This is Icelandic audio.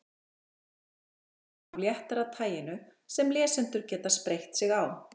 Hér er dæmi af léttara taginu sem lesendur geta spreytt sig á.